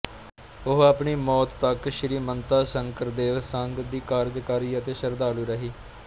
ਉਹ ਆਪਣੀ ਮੌਤ ਤੱਕ ਸ਼੍ਰੀਮੰਤਾ ਸ਼ੰਕਰਦੇਵ ਸੰਘ ਦੀ ਕਾਰਜਕਾਰੀ ਅਤੇ ਸ਼ਰਧਾਲੂ ਰਹੀ